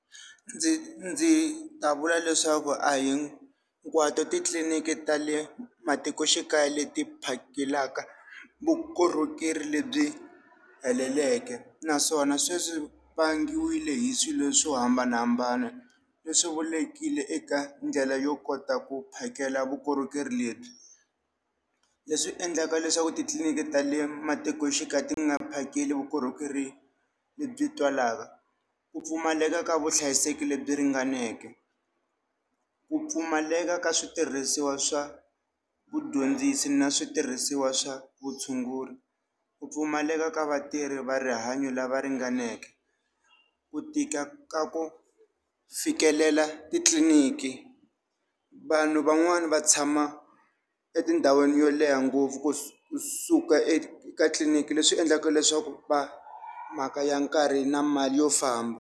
Ndzi ndzi ta vula leswaku a hinkwato titliliniki ta le matikoxikaya leti phakelaka vukorhokeri lebyi heleleke, naswona sweswo swi vangiwile hi swilo swo hambanahambana leswi vulekile eka ndlela yo kota ku phakela vukorhokeri lebyi. Leswi endlaka leswaku titliliniki ta le matikoxikaya ti nga phakeli vukorhokeri lebyi twalaka, ku pfumaleka ka vuhlayiseki lebyi ringaneke, ku pfumaleka ka switirhisiwa swa vudyondzisi na switirhisiwa swa vutshunguri, ku pfumaleka ka vatirhi va rihanyo lava ringaneke, ku tika ka ku fikelela titliliniki, vanhu van'wani va tshama etindhawini yo leha ngopfu kusuka eka tliliniki leswi endlaka leswaku va mhaka ya nkarhi na mali yo famba.